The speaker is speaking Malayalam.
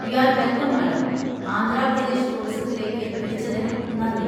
U are welcome madam, Andhra Pradesh ടൂറിസത്തിലേക്ക് വിളിച്ചതിന് നന്ദി.